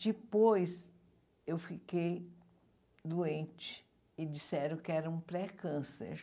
Depois eu fiquei doente e disseram que era um pré-câncer.